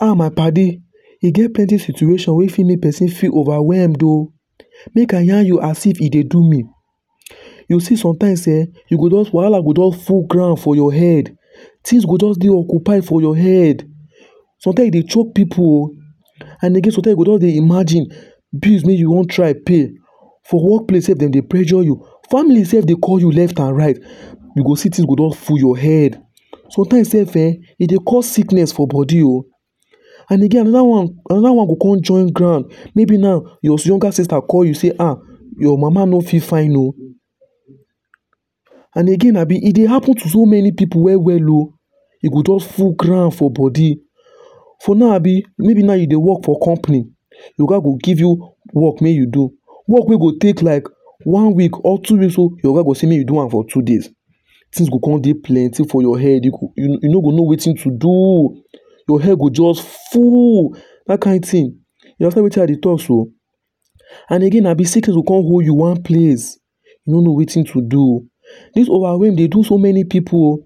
um my padi, e get plenty situation wey fit make person feel overwhelmed o. Make I yarn you as if e dey do me. You see sometimes um u go just wahala go jus down full ground for your head, things go just dey occupied for your head. Sometimes e dey chop pipu o And again sometimes e go just dey imagine bills wey you wan try pay. For workplace self dem dey pressure you. Family self dey call you left and right, you go see things go don full your head. Sometimes self um e dey cause sickness for body o. And again another one another one go come join ground. Maybe now your younger sister call you say um, your mama no feel fine o And again abi e dey happen to so many people well well o. E go jus full ground for body. For now abi, maybe now you dey work for company, your oga go give you work make you do, work wey go take you like one week, or two weeks o your oga go say make you do am for two days. Things go come dey plenty for your head. You go you no go know wetin to do. Your head go just full. That kind thing. You understand wetin I dey talk so. And again na abi sickness go come hold you one place you no know wetin to do o. This overwhelm dey do so many people o